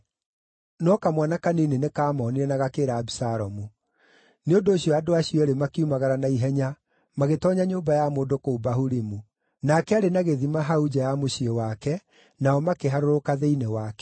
No kamwana kanini nĩkamonire na gakĩĩra Abisalomu. Nĩ ũndũ ũcio andũ acio eerĩ makiumagara na ihenya magĩtoonya nyũmba ya mũndũ kũu Bahurimu. Nake aarĩ na gĩthima hau nja ya mũciĩ wake, nao makĩharũrũka thĩinĩ wakĩo.